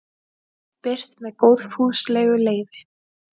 Birt með góðfúslegu leyfi.